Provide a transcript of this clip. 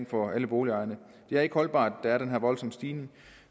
for alle boligejerne det er ikke holdbart at der er den her voldsomme stigning